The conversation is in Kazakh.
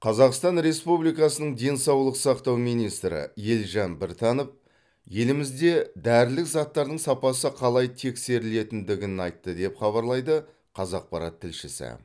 қазақстан республикасының денсаулық сақтау министрі елжан біртанов елімізде дәрілік заттардың сапасы қалай тексерілетіндігін айтты деп хабарлайды қазақпарат тілшісі